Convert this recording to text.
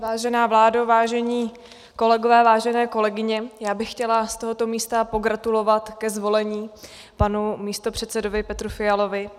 Vážená vládo, vážení kolegové, vážené kolegyně, já bych chtěla z tohoto místa pogratulovat ke zvolení panu místopředsedovi Petru Fialovi.